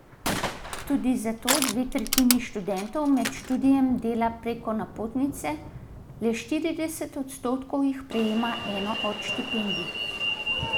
Tudi zato dve tretjini študentov med študijem dela preko napotnice, le štirideset odstotkov jih prejema eno od štipendij.